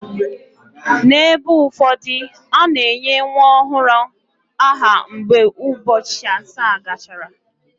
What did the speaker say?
N’ebe ụfọdụ, a na-enye nwa ọhụrụ aha mgbe ụbọchị asaa gachara.